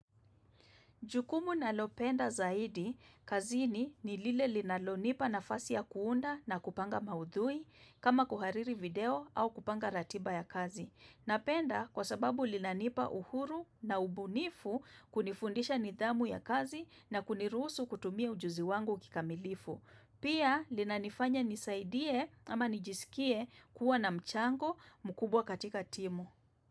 Jukumu nalopenda zaidi, kazini ni lile linalonipa nafasi ya kuunda na kupanga maudhui kama kuhariri video au kupanga ratiba ya kazi. Napenda kwa sababu linanipa uhuru na ubunifu, kunifundisha nidhamu ya kazi na kuniruhusu kutumia ujuzi wangu kikamilifu. Pia linanifanya nisaidie ama nijisikie kuwa na mchango mkubwa katika timu.